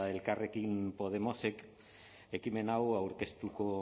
elkarrekin podemosek ekimen hau aurkeztuko